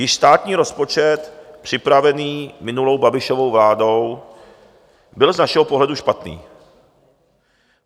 Již státní rozpočet připravený minulou Babišovou vládou byl z našeho pohledu špatný.